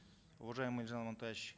уважаемый елжан амантаевич